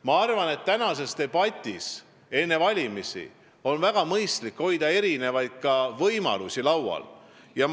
Ma arvan, et valimiseelses debatis on väga mõistlik erinevaid võimalusi laual hoida.